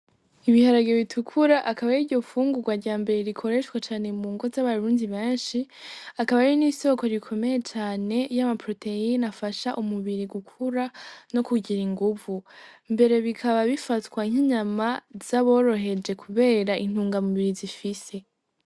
Ibiharagire bitukura akaba ri ryo fungurwa rya mbere rikoreshwa cane mu ngo z'abarunzi benshi akaba ari n'isoko rikomeye cane y'amapuroteyino afasha umubiri gukura no kugira inguvu mbere bikaba bifatswa nkinyama z'aboroheje, kubera intungamubiri zifise.